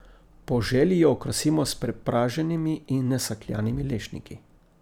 Po želji jo okrasimo s prepraženimi in nasekljanimi lešniki.